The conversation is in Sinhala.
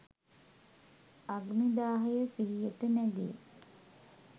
අග්නිදාහය සිහියට නැගේ.